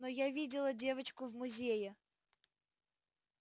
но я видела девочку в музее